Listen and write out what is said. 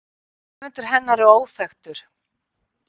Höfundur hennar er óþekktur.